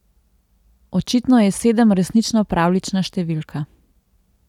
Očitno je sedem resnično pravljična številka.